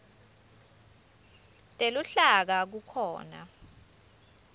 teluhlaka kukhona